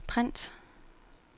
print